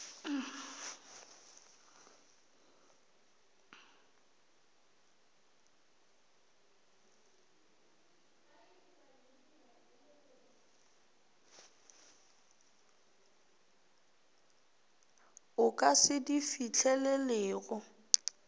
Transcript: o ka se di fihlelelego